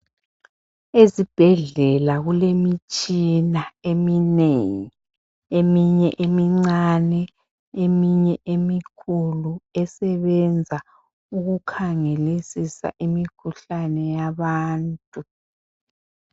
Ezibhedlela kulemitshina eminengi eminye emincane eminye emikhulu esebenza ukukhangelisisa imikhuhlane yabantu.